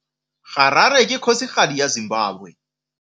Harare ke kgosigadi ya Zimbabwe.